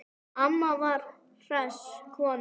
Amma var hress kona.